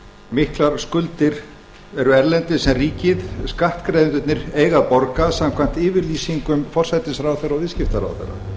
miklar skuldir eru erlendis sem ríkið skattgreiðendurnir eiga að borga samkvæmt yfirlýsingum forsætisráðherra og viðskiptaráðherra